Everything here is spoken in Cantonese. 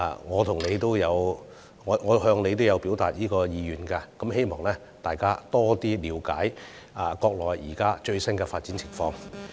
我曾經向你表達過這個意願，希望能讓議員加深了解國內現在最新的發展情況。